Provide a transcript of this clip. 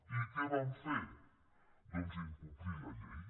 i què van fer doncs incomplir la llei